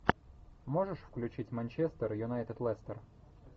можешь включить манчестер юнайтед лестер